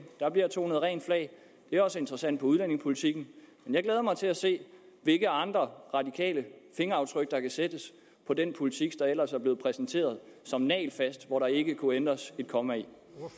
bliver der tonet rent flag det er også interessant på udlændingepolitikken jeg glæder mig til at se hvilke andre radikale fingeraftryk der sættes på den politik der ellers er blevet præsenteret som nagelfast og ikke kunne ændres et komma i